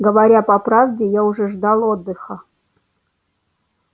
говоря по правде я уже ждал отдыха